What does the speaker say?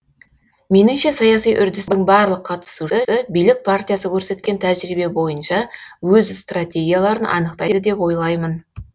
меніңше саяси үрдістің барлық қатысушысы билік партиясы көрсеткен тәжірибе бойынша өз стратегияларын анықтайды деп ойлаймын